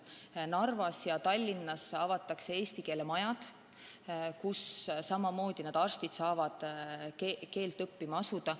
Narvas ja Tallinnas avatakse eesti keele majad, kus samamoodi need arstid saavad keelt õppima asuda.